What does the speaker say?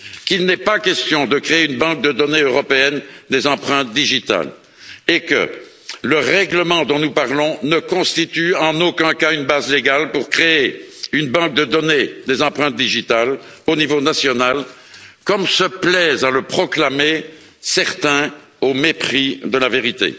Il n'est pas question de créer une banque de données européenne des empreintes digitales. Le règlement dont nous parlons ne constitue en aucun cas une base juridique pour créer une banque de données des empreintes digitales au niveau national, comme se plaisent à le proclamer certains, au mépris de la vérité.